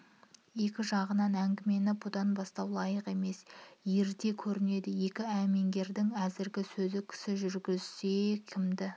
екінші жағынан әңгімені бүдан бастау лайық емес ерте көрінеді екі әмеңгердің әзіргі сөзі кісі жүргізсек кімді